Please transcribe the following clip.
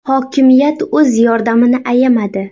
Hokimiyat o‘z yordamini ayamadi.